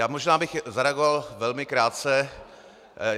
Já možná bych zareagoval velmi krátce.